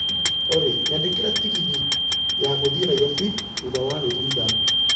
Olly, nyandĩkĩre tegithĨ ya gũthiĩ Nairobi thutha wa nuthu ithaa